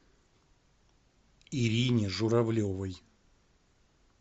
ирине журавлевой